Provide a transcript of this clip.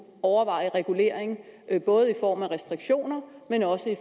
overveje regulering både i form af restriktioner